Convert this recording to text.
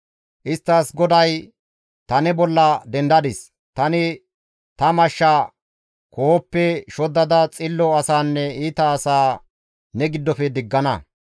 Isttas GODAY, ‹Ta ne bolla dendadis; tani ta mashsha koohoppe shoddada xillo asaanne iita asaa ne giddofe diggana.